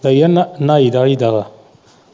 ਭਈਆ ਨਾ ਨਾਈਦਾ ਹੁਈਦਾ ਵਾ।